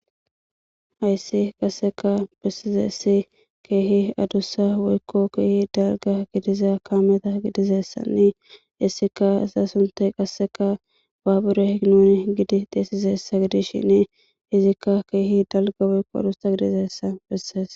Hayssi qasseka bessizessi keehi adussa woykko keehi dalga gidiza kaameta gidizessanni issika asa suntay qasseka baabure hignon gidi deessizessa gidis shine izikka keehi dalga woykko adussa gidizessa bessees.